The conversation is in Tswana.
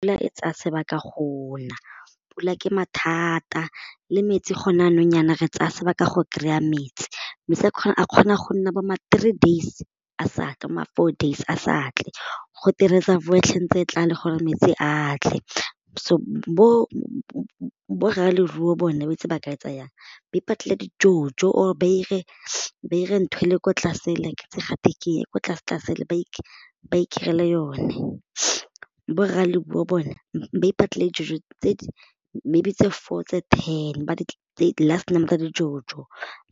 E tsaya sebaka go na pula ke mathata le metsi gone jaanong jaana re tsaya sebaka go kry-a metsi a kgona go nna bo three days a sa tle bo ma four days a sa tle go twe reservoir e tlale gore metsi a tle so bo rraleruo bone ba itse ba ka etsa jang ba ipatlele di jojo or ba ire, ba ire ntho ele kwa tlase le ke itse ga twe keng ko tlase tlase le ba ba i-kry-le yone borraleruo bona ba ipatlele dijojo tse di maybe tse four ten ka di-jojo